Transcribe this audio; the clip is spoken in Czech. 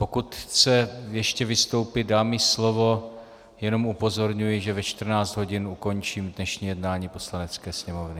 Pokud chce ještě vystoupit, dám jí slovo, jenom upozorňuji, že ve 14 hodin ukončím dnešní jednání Poslanecké sněmovny.